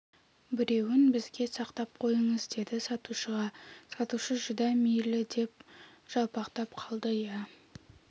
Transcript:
біреуін бізге сақтап қойыңыз деді сатушыға сатушы жүдә мейлі деп жалпақтап қалды иә